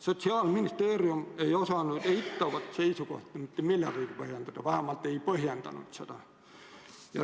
Sotsiaalministeerium ei osanud eitavat seisukohta mitte millegagi põhjendada – igatahes ta ei põhjendanud seda.